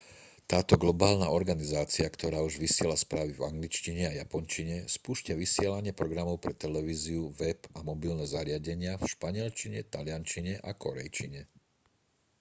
táto globálna organizácia ktorá už vysiela správy v angličtine a japončine spúšťa vysielanie programov pre televíziu web a mobilné zariadenia v španielčine taliančine a kórejčine